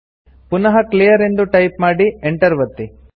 ಪುನಃ ಕ್ಲೀಯರ್ ಎಂದು ಟೈಪ್ ಮಾಡಿ ಎಂಟರ್ ಒತ್ತಿ